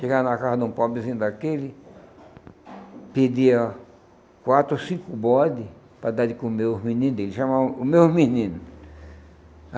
Chegava na casa de um pobrezinho daquele, pedia quatro ou cinco bode para dar de comer os meninos dele, chamavam o meu menino.